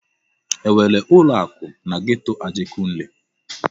E nwere ụlọ akụ na geto Ajegunle?